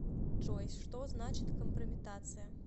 джой что значит компрометация